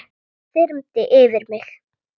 Við þetta þyrmdi yfir mig.